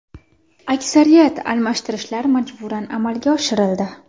Aksariyat almashtirishlar majburan amalga oshirildi.